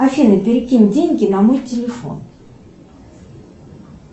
афина перекинь деньги на мой телефон